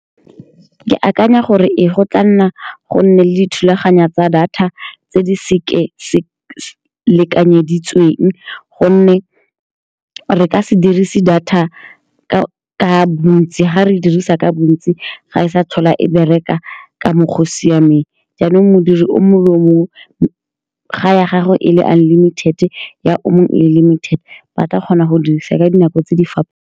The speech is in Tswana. Ke akanya gore ee, go tla nna le dithulaganyo tsa data tse di seka-seka lekanyeditsweng, ka gonne re ka se dirise data ka bontsi. Fa re e dirisa ka bontsi, ga e sa tlhola e bereka ka mokgwa o o siameng. Jaanong, modiri o mongwe le o mongwe , fa ya gago e le unlimited-e, ya o mongwe e le limited-e, ba tla kgona go e dirisa ka dinako tse di .